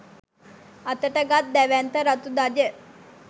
අතට ගත් දැවැන්ත රතු ධජ